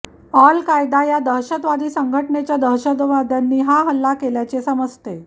अल Qaeda या दहशतवादी संघटनेच्या दहशतवाद्यांनी हा हल्ला केल्याचे समजते